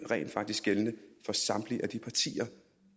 rent faktisk gældende for samtlige de partier